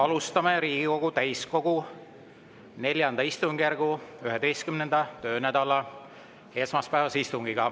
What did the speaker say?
Alustame Riigikogu täiskogu IV istungjärgu 11. töönädala esmaspäevast istungit.